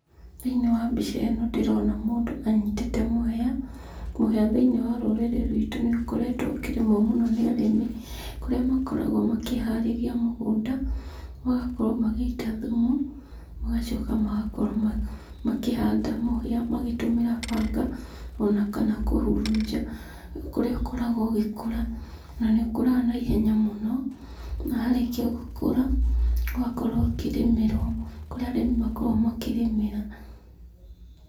Thĩiniĩ wa mbiceno ndĩrona mũndũ anyitĩte mũhĩa. Mũhĩa thĩiniĩ wa rũrĩrĩ rwĩtũ nĩ ũkoretwo ũkĩrĩmwo mũno nĩ arĩmi, kũrĩa makoragwo makĩharĩria mũgũnda, magakorwo magĩita thumu, magacoka magakorwo makĩhanda mũhĩa magĩtũmĩra banga ona kana kũhurunja, kũrĩa ũkoragwo ũgĩkũra, na nĩ ũkũraga na ihenya mũno. Na warĩkia gũkũra, ũgakorwo ũkĩrĩmĩrwo, kũrĩa arĩmi makoo makĩrĩmĩra.